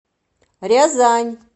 рязань